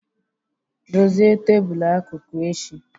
Dozie tebul akụkụ echi!